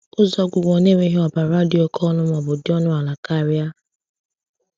Ụzọ ọgwụgwọ na-enweghị ọbara dị oke ọnụ ma ọ bụ dị ọnụ ala karịa?